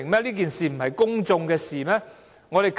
這件事不是公眾的事嗎？